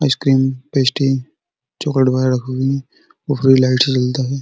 Ice cream pastry chocolate वगैरह रखा हुआ है। ऊपर लाइट से जलता हैं।